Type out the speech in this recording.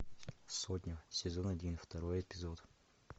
сотня сезон один второй эпизод